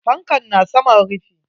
Fankan na saman rufi.